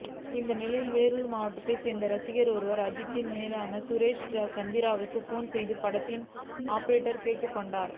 இந்நிலையில் வேலூர் மாவட்டத்தை சேர்ந்த ரசிகர் ஒருவர் அஜித்தின் மேனேஜர் சுரேஷ் சந்திராவுக்கு போன் செய்து படத்தின் அப்டேட் கேட்டுள்ளார்